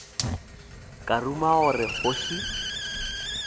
ka ruma gore ke kgoši